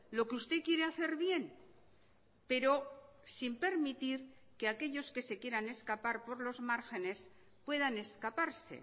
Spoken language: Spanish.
lo que usted quiere hacer bien pero sin permitir que aquellos que se quieran escapar por los márgenes puedan escaparse